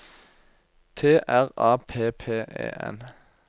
T R A P P E N